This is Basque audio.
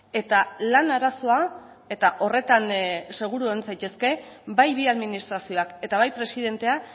eta lan arazoa eta horretan seguru egon zaitezke bai bi administrazioak eta bai presidentea